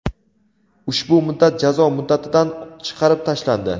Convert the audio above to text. ushbu muddat jazo muddatidan chiqarib tashlandi.